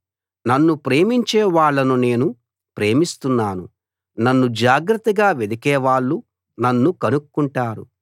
నన్ను ప్రేమించే వాళ్ళను నేను ప్రేమిస్తున్నాను నన్ను జాగ్రత్తగా వెదికే వాళ్ళు నన్ను కనుక్కుంటారు